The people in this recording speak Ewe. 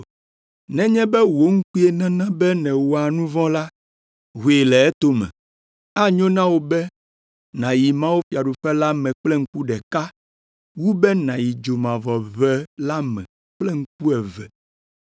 Nenye be wò ŋkue nana be nèwɔa nu vɔ̃ la, hoe le etome. Enyo na wò be nàyi mawufiaɖuƒe la me kple ŋku ɖeka wu be nàyi dzomavɔʋe la me kple ŋku eve,